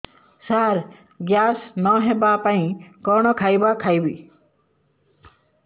ସାର gas ନ ହେବା ପାଇଁ କଣ ଖାଇବା ଖାଇବି